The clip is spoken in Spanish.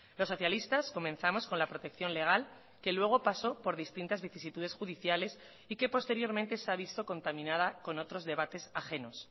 los socialistas comenzamos con la protección legal que luego pasó por distintas vicisitudes judiciales y que posteriormente se avisó contaminada con otros debates ajenos